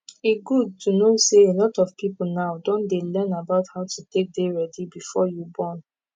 e good to know say a lot of people now don dey learn about how to take dey ready before you born